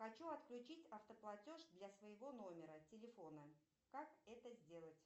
хочу отключить автоплатеж для своего номера телефона как это сделать